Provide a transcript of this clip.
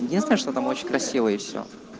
единственное что там очень красиво и все